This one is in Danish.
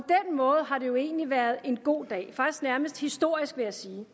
måde har det jo egentlig være en god dag faktisk nærmest historisk vil jeg sige